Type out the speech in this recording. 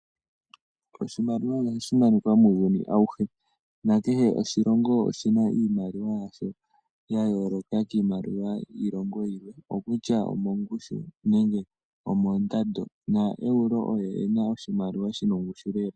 Oshimaliwa oha shi monika muuyuni awuhe ndee kehe oshilongo oshina iimaliwa yasho ya yooloka kiimaliwa yiilongo iikwawo okutya omo ngushu nenge omo ndando na euro one ena oshimaliwa shi na ongushu Lela.